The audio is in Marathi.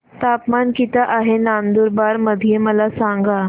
तापमान किता आहे नंदुरबार मध्ये मला सांगा